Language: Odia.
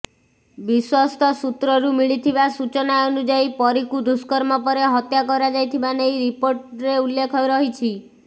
ବିଶ୍ୱସ୍ତ ସୂତ୍ରରୁ ମିଳିଥିବା ସୂଚନା ଅନୁଯାୟୀ ପରୀକୁ ଦୁଷ୍କର୍ମ ପରେ ହତ୍ୟା କରାଯାଇଥିବା ନେଇ ରିପୋର୍ଟରେ ଉଲ୍ଲେଖ ରହିଛି